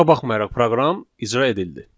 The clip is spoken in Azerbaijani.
Buna baxmayaraq proqram icra edildi.